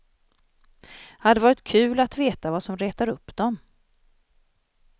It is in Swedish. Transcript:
Hade varit kul att veta vad som retar upp dem.